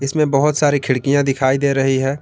इसमें बहुत सारी खिड़कियां दिखाई दे रही है।